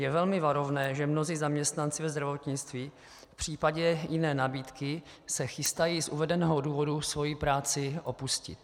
Je velmi varovné, že mnozí zaměstnanci ve zdravotnictví v případě jiné nabídky se chystají z uvedeného důvodu svoji práci opustit.